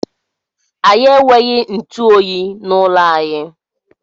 Anyị enweghị ntụ oyi n'ụlọ anyị.